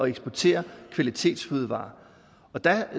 eksportere kvalitetsfødevarer og der